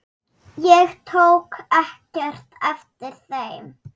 Ég tók ekkert eftir þeim.